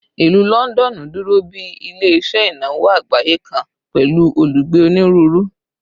Ilu Lọndọnu duro bi ile-iṣẹ inawo agbaye kan pẹlu olugbe oniruuru